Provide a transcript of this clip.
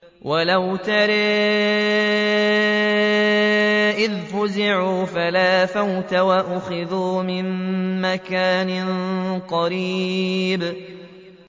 وَلَوْ تَرَىٰ إِذْ فَزِعُوا فَلَا فَوْتَ وَأُخِذُوا مِن مَّكَانٍ قَرِيبٍ